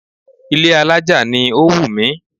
Ilé alájà ni ó wù mí